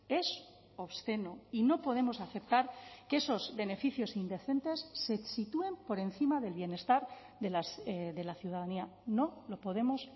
es obsceno y no podemos aceptar que esos beneficios indecentes se sitúen por encima del bienestar de la ciudadanía no lo podemos